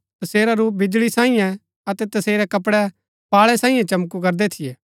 तसेरा रूप बिजळी सांईये अतै तसेरै कपड़ै पाळै सांईये चंमकू करदै थियै